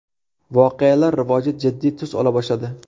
Voqealar rivoji jiddiy tus ola boshladi.